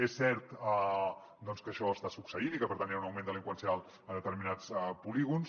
és cert que això està succeint i que per tant hi ha un augment delinqüencial en determinats polígons